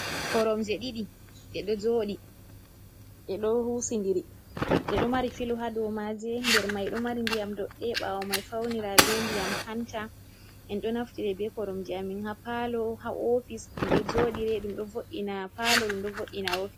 Koromje ɗiɗi ɗe ɗo jooɗi husindiri ,ɗe ɗo mari filo haa dow maaje. Nder may ɗo mari ndiyam doɗɗe ɓaawo may fawnira be ndiyam hanta. En ɗo naftira be koromje a min haa paalo, haa ofis, ɗum ɗo jooɗire ,ɗum ɗo vo''ina haa paalo, ɗum ɗo vo''ina haa ofis.